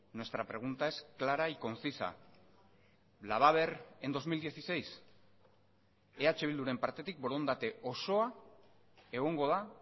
nuestra pregunta es clara y concisa la va a haber en dos mil dieciséis eh bilduren partetik borondate osoa egongo da